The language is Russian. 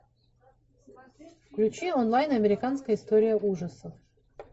включи онлайн американская история ужасов